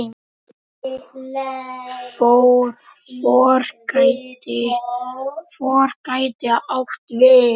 FOR gæti átt við